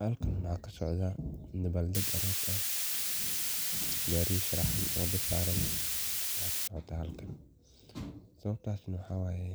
Halkan waxaa kasocdaa dabaal dag aroos ah, gaariya sharxan oo dad saaran ayaa kasocdaa halkan, intaas na mxaa waye